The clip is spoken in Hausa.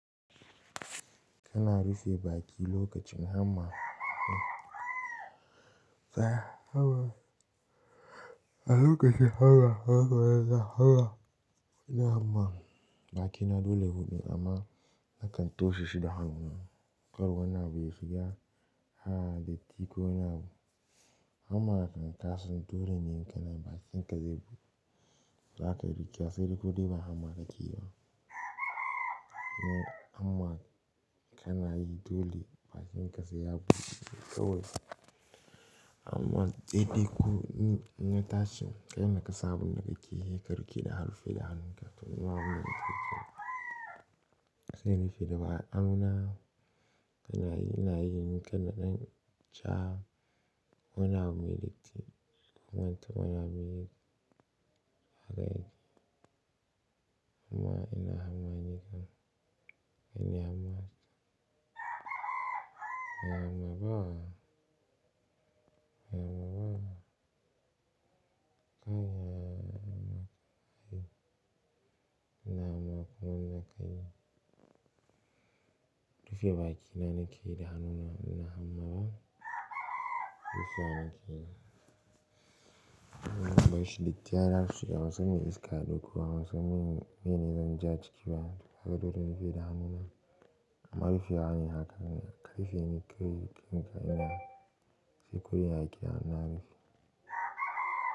Kana rufe baki lokacin hamma. A lokacin hamma, baki na dole in buɗe amma nakan toshe shi da hannuna. Kar wani abu ya shiga ha da titi ko wani abu. Hamma kan taso dole ne in kana yi bakin ka zai buɗe. Za ka iya rufe wa sai dai ko dai ba hamma kake yi ba. Hamma kana yi dole bakin sai ya sai ya buɗu. Amma sai dai ko in na tashi kai da ka san abunda kakeyi ka riƙe da han-- da hannunka. To mu ma abun da mukeyi sai in rufe da ba hannuna. Kanayi ina yi ni kan na ɗan ca wani abu mai datti. Wannan ta waya ne mai amma ina hamma ni kan. Nine hamma. Ina hamma ba. Ina hamma. Kana ina hamma ina yin hamma kome kai. Rufe bakina na ke da hannuna in ina hamma ba. Rufe bakina. Wannan bashi da kyara saboda ban san me iska da doko ba wasan me ne zan ja ciki ba. Haka dole in rufe da hannuna. Sai ko yaya kyama ne.